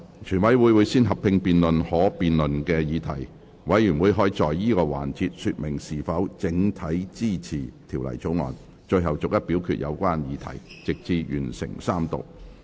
全委會先合併辯論可辯論的議題，委員可在此環節說明是否整體支持《條例草案》，最後逐一表決有關議題，直至完成三讀。